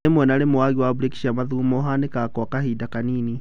Rimwe na rimwe wagi wa brĩki cia mathugumo ũhanĩkaga gwa kahinda kanini